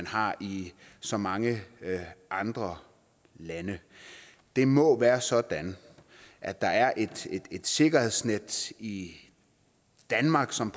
har i så mange andre lande det må være sådan at der er et sikkerhedsnet i danmark som